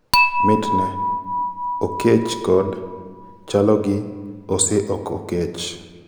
mitne? okech kod=se ok okech?